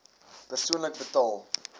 persoonlik betaal